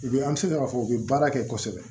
U bɛ an bɛ se k'a fɔ u bɛ baara kɛ kosɛbɛ